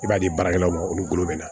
I b'a di baarakɛlaw ma olu bolo bɛ na